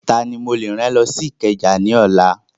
Tani mo lè rán lọ sí Ìkẹjà ní ọ̀la?